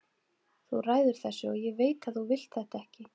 Þú ræður þessu, og ég veit að þú vilt þetta ekki.